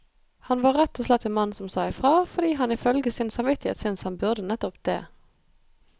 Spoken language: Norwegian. Han var rett og slett en mann som sa ifra, fordi han ifølge sin samvittighet syntes han burde nettopp det.